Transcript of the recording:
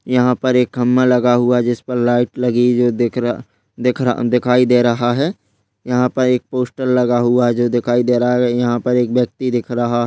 यहां पर एक खंभा लगा हुआ है जिस पर लाइट लगी है जो दिख रहा दिखाई दे रहा है यहां पर एक पोस्टर लगा हुआ जो दिखाई दे रहा है और यहां पर एक व्यक्ति दिख रहा है।